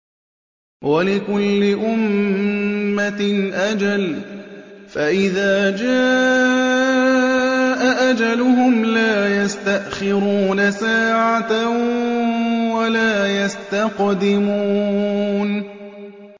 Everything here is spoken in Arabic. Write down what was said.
وَلِكُلِّ أُمَّةٍ أَجَلٌ ۖ فَإِذَا جَاءَ أَجَلُهُمْ لَا يَسْتَأْخِرُونَ سَاعَةً ۖ وَلَا يَسْتَقْدِمُونَ